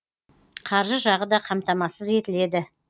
қаржы жағы да қамтамасыз етіледі